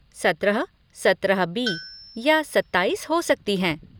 सत्रह, सत्रह बी या सत्ताईस हो सकती हैं।